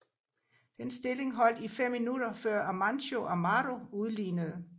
Den stilling holdt i 15 minutter før Amancio Amaro udlignede